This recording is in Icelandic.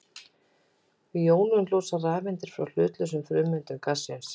Við jónun losna rafeindir frá hlutlausum frumeindum gassins.